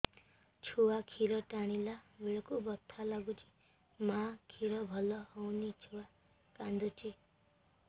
ଛୁଆ ଖିର ଟାଣିଲା ବେଳକୁ ବଥା ଲାଗୁଚି ମା ଖିର ଭଲ ହଉନି ଛୁଆ କାନ୍ଦୁଚି